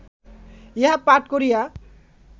ইহা পাঠ করিয়া